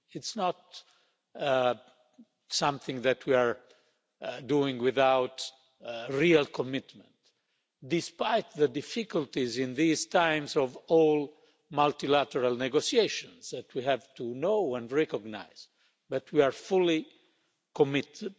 It is not something that we are doing without real commitment, despite the difficulties in these times of all multilateral negotiations that we have to know and recognise, but we are fully committed.